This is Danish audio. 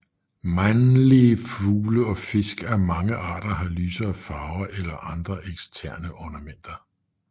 Mandlige fugle og fisk af mange arter har lysere farve eller andre eksterne ornamenter